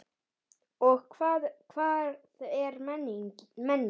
Og hvað er menning?